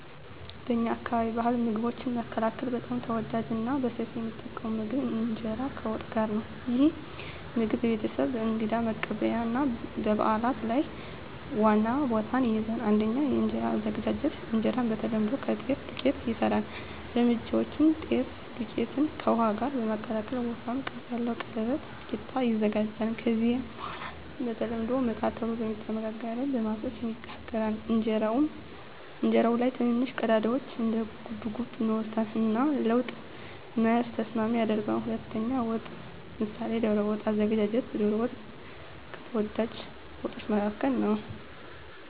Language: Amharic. በእኛ አካባቢ ባሕላዊ ምግቦች መካከል በጣም ተወዳጅና በሰፊው የሚጠቀም ምግብ እንጀራ ከወጥ ጋር ነው። ይህ ምግብ በቤተሰብ፣ በእንግዳ መቀበያ እና በበዓላት ሁሉ ላይ ዋና ቦታ ይይዛል። 1. የእንጀራ አዘገጃጀት እንጀራ በተለምዶ ከጤፍ ዱቄት ይሰራል። እርምጃዎች: ጤፍ ዱቄትን ከውሃ ጋር በመቀላቀል ወፍራም ቅርጽ ያለው ቀለበት (ቂጣ) ይዘጋጃል። ከዚያ በኋላ በተለምዶ “ምጣድ” ተብሎ በሚጠራ መጋገሪያ ላይ በመፍሰስ ይጋገራል። እንጀራው ላይ ትንንሽ ቀዳዳዎች (እንደ ጉብጉብ) ይኖሩታል እና ለወጥ መያዝ ተስማሚ ያደርገዋል። 2. ወጥ (ምሳሌ ዶሮ ወጥ) አዘገጃጀት ዶሮ ወጥ ከተወዳጅ ወጦች መካከል ነው።